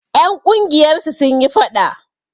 Ƴan ƙungiyar su sun yi faɗa.